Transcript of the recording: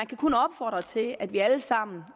kan kun opfordres til at vi alle sammen